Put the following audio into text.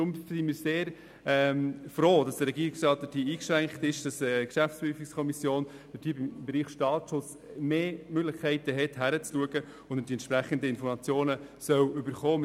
Wir sind deshalb sehr froh, dass der Regierungsrat auf den Antrag der Kommissionsmehrheit eingeschwenkt ist, wonach die GPK im Bereich Staatsschutz mehr Möglichkeiten hat hinzuschauen und die entsprechenden Informationen erhalten soll.